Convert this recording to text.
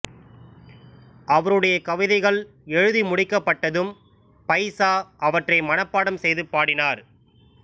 அவருடைய கவிதைகள் எழுதி முடிக்கப்பட்டதும் பைசா அவற்றை மனப்பாடம் செய்து பாடினார்